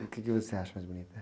E o quê que você acha mais bonito?